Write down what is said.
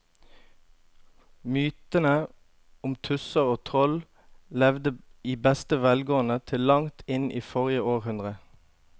Mytene om tusser og troll levde i beste velgående til langt inn i forrige århundre.